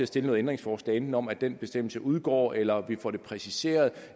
stille nogle ændringsforslag enten om at den bestemmelse udgår eller om at vi får det præciseret